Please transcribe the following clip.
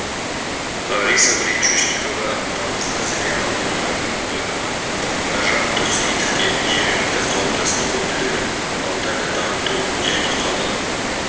лариса гречушникова тамызда зырян ауданының әкімі нұржан тоқсейітовке жергілікті қауымдастық өкілдері ауданды дамыту және қала